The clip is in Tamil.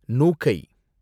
நுாகை